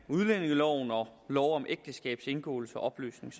af udlændingeloven og lov om ægteskabs indgåelse og opløsning